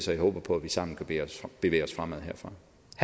jeg håber på at vi sammen kan bevæge os fremad herfra